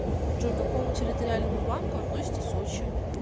джой к какому территориальному банку относится сочи